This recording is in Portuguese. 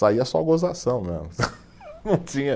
Saía só gozação mesmo, não tinha